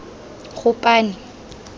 gopane